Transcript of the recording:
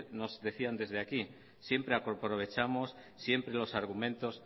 nos decían desde aquí siempre aprovechamos siempre los argumentos